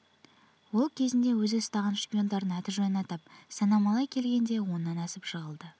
ол кезінде өзі ұстаған шпиондардың аты-жөнін атап санамалай келгенде оннан асып жығылды